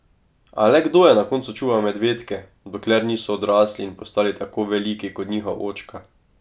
A le kdo je na koncu čuval medvedke, dokler niso odrasli in postali tako veliki kot njihov očka?